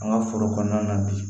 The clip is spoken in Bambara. An ka foro kɔnɔna na bi